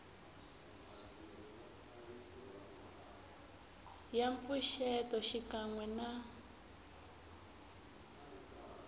ya mpfuxeto xikan we na